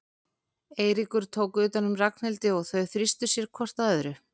Eiríkur tók utan um Ragnhildi og þau þrýstu sér hvort að öðru.